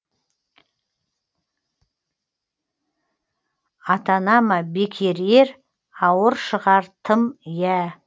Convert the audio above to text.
атана ма бекер ер ауыр шығар тым иә